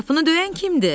Qapını döyən kimdir?